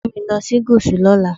Take me to the South tomorrow.